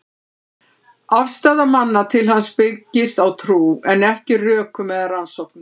Afstaða manna til hans byggist á trú, en ekki rökum eða rannsóknum.